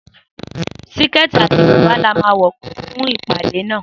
Síkètì àti bùbá la máa wò fún ìpàdé náà.